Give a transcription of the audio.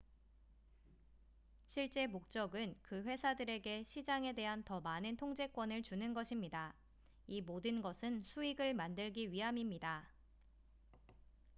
실제 목적은 그 회사들에게 시장에 대한 더 많은 통제권을 주는 것입니다 이 모든 것은 수익을 만들기 위함입니다